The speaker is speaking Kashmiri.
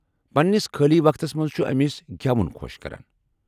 پنٛنس خٲلی وقتس منٛز چُھ امِس گیوُن خوش كران ۔